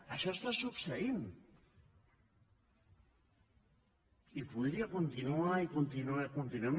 això està succeint i podria continuar i continuar i continuar